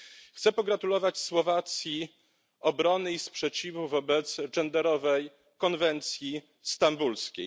Chcę pogratulować Słowacji obrony i sprzeciwu wobec genderowej konwencji stambulskiej.